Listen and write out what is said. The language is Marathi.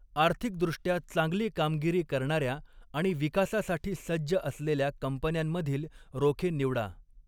आर्थिकदृष्ट्या चांगली कामगिरी करणाऱ्या आणि विकासासाठी सज्ज असलेल्या कंपन्यांमधील रोखे निवडा.